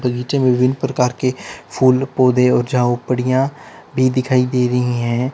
बगीचे विभिन्न प्रकार के फूल पौधे और झावपड़ियां भी दिखाई दे रही हैं।